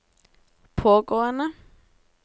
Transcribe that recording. pågående